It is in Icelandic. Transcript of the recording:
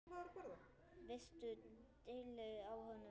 Veistu deili á honum?